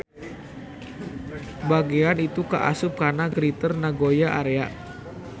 Bagean itu kaasup kana Greater Nagoya Area.